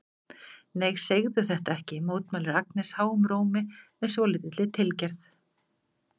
Nei, segðu þetta ekki, mótmælir Agnes háum rómi með svolítilli tilgerð.